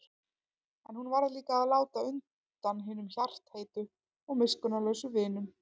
En hún varð líka að láta undan hinum hjartaheitu og miskunnarlausu vinum.